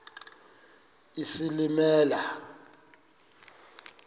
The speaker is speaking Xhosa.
isilimela